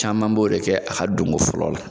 Caman b'o de kɛ, a ka don ko fɔlɔ la